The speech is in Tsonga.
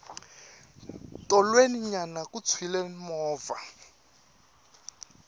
tolweni nyana ku tshwile movha